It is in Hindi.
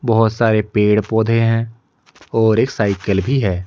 बहोत सारे पेड़ पौधे हैं और एक साइकल भी है।